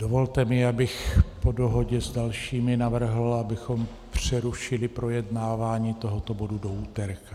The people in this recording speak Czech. Dovolte mi, abych po dohodě s dalšími navrhl, abychom přerušili projednávání tohoto bodu do úterka.